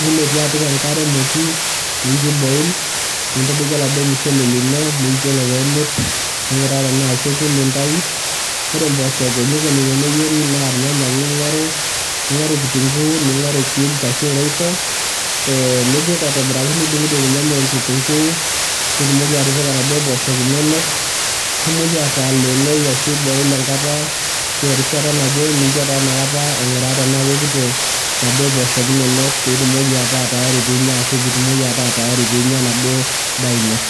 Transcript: nilotu apik enkare emoti nincho iboil , nintadoiki oladuoo mushele lino, nincho ore pemit , ninguraa tena keku nintayu . Ore imposhok enikoni teneyieri naa irnyanya ake ingoru , ningoru kitunguu , ningoru cubes arshu royco ee nipik aitobiraki, nidungdung irnyanya okitunguu ,nitumoki atipika inaduo poshok inonok , nitumoki ataleenoi ashu iboil enkata arashu erishata naje , nincho taa inakata ainguraa tenaa kekuto inaduo poshok inonok pitumoki ataa taayari pinya ashua ataa tayari pinya enaduoo daa ino.